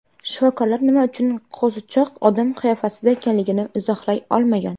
Shifokorlar nima uchun qo‘zichoq odam qiyofasida ekanligini izohlay olmagan.